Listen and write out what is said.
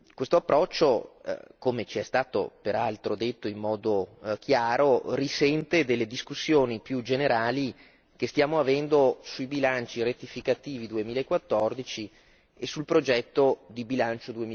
Questo approccio come ci è stato peraltro detto in modo chiaro risente delle discussioni più generali che stiamo avendo sui bilanci rettificativi 2014 e sul progetto di bilancio